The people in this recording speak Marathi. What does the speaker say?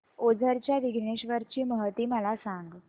ओझर च्या विघ्नेश्वर ची महती मला सांग